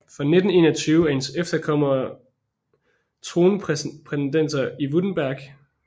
Fra 1921 er hendes efterkommere tronprætendenter i Württemberg